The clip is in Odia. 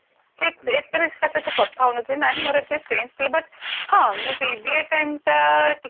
ଏତେ ବି କାହା ସହିତ କଥା ହଉନଥିଲି ନା ହ9ନ ଏତେ ମୋର sense ଥିଲା ହଁ BBA time ଟା